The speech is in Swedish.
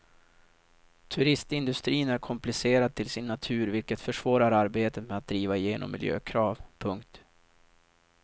Turistindustrin är komplicerad till sin natur vilket försvårar arbetet med att driva igenom miljökrav. punkt